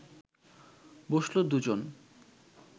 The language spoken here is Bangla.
বসল দু’জন